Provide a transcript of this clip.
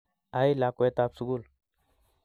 Ai lakwet tab sugul